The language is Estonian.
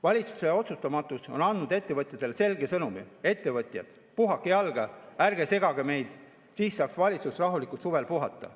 Valitsuse otsustamatus on andnud ettevõtjatele selge sõnumi: ettevõtjad, puhake jalga, ärge segage meid, siis saaks valitsus rahulikult suvel puhata.